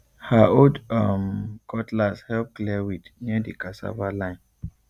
her old um cutlass help clear weed near the cassava line